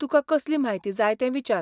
तुका कसली म्हायती जाय तें विचार.